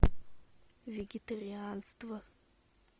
вегетарианство